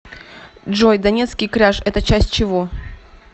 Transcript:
джой донецкий кряж это часть чего